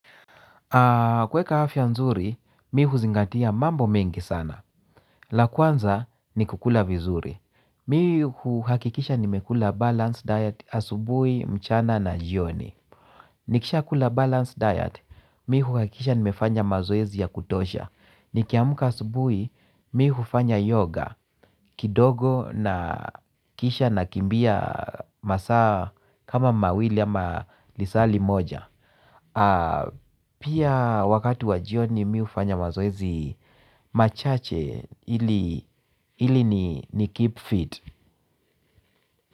Kuweka afya nzuri, mi huzingatia mambo mengi sana. La kwanza ni kukula vizuri. Mi huhakikisha nimekula balanced diet asubuhi mchana na jioni. Nikisha kula balance diet, mi huhakikisha nimefanya mazoezi ya kutosha. Nikiamka asubuhi, mi hufanya yoga kidogo na kisha nakimbia masaa kama mawili ama lisali moja. Pia wakati wa jioni mi hufanya mazoezi machache ili ni keep fit.